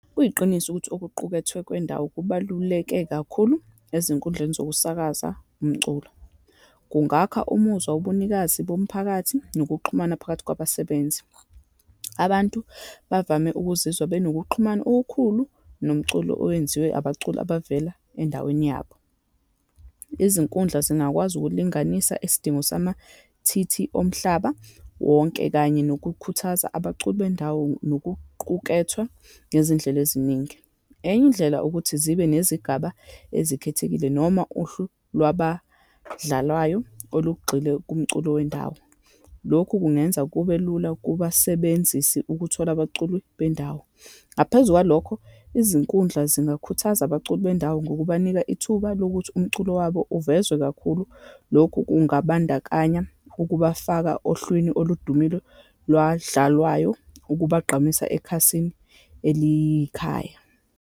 Kuyiqiniso ukuthi okuqukethwe kwendawo kubaluleke kakhulu ezinkundleni zokusakaza umculo. Kungakha umuzwa wobunikazi bomphakathi, nokuxhumana phakathi kwabasebenzi. Abantu bavame ukuzizwa benokuxhumana okukhulu nomculo owenziwe abaculi abavela endaweni yabo. Izinkundla zingakwazi ukulinganisa isidingo sama-T_T omhlaba wonke, kanye nokukhuthaza abaculi bendawo nokuqukethwe, ngezindlela eziningi. Enye indlela ukuthi zibe nezigaba ezikhethekile, noma uhlu lwabadlalwayo olugxile komculo wendawo. Lokhu kungenza kube lula kubasebenzisi ukuthola abaculi bendawo. Ngaphezu kwalokho, izinkundla zingakhuthaza abaculi bendawo ngokubanika ithuba lokuthi umculo wabo uvezwa kakhulu. Lokhu kungabandakanya ukubafaka ohlwini oludumeli lwadlalwayo ukubagqamisa ekhasini elikhaya.